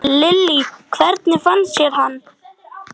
Lillý: Hvernig finnst þér hann?